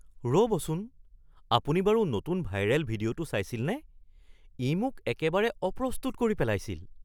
ৰ'বচোন, আপুনি বাৰু নতুন ভাইৰেল ভিডিঅ'টো চাইছিলনে? ই মোক একেবাৰে অপ্ৰস্তুত কৰি পেলাইছিল! (জেনেৰেল জেড ওৱান)